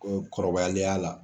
Ko kɔrɔbaliya la.